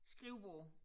Skrivebord